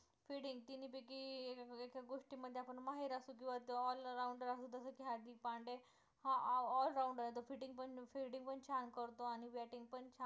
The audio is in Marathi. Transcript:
आपण माहीर असू किंवा all rounder असू जसं की हार्दिक पांड्या हा all rounder आहे तर fielding पण fielding पण छान करतो आणि batting पण छान